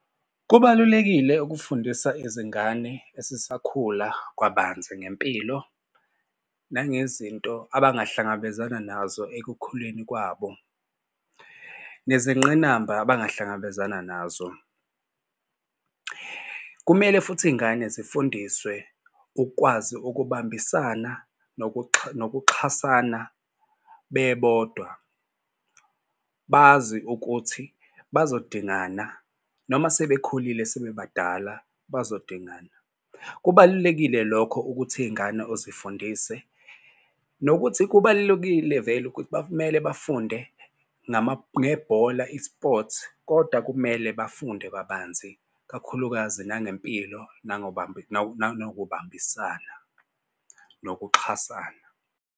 Kubalulekile ukufundisa izingane esisakhula kabanzi ngempilo nangezinto abangahlangabezana nazo ekukhuleni kwabo nezingqinamba abangahlangabezana nazo. Kumele futhi iy'ngane zifundiswe ukwazi ukubambisana nokuxhasana bebodwa. Bazi ukuthi bazodingana noma sebekhulile sebebadala bazodinga. Kubalulekile lokho ukuthi iy'ngane uzifundise nokuthi kubalulekile vele ukuthi kumele bafunde ngebhola i-sport kodwa kumele bafunde kabanzi kakhulukazi nangempilo nokubambisana nokuxhasana.